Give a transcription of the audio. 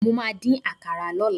Mo máà dín àkàrà lọ́la.